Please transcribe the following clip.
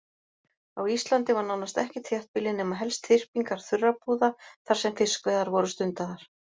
Á Íslandi var nánast ekkert þéttbýli nema helst þyrpingar þurrabúða þar sem fiskveiðar voru stundaðar.